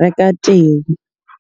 reka teng.